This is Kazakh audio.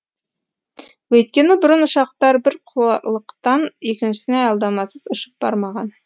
өйткені бұрын ұшақтар бір құрлықтан екіншісіне аялдамасыз ұшып бармаған